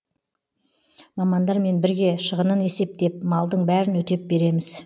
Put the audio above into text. мамандармен бірге шығынын есептеп малдың бәрін өтеп береміз